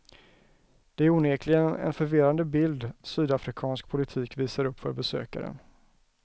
Det är onekligen en förvirrande bild sydafrikansk politik visar upp för besökaren.